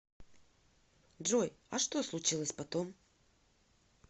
джой а что случилось потом